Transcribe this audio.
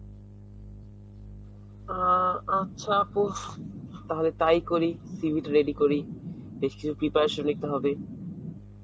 অ্যাঁ আ~ আচ্ছা আপু, তাহলে তাই করি. CV তো ready করি. বেশ কিছু preparation নিতে হবে.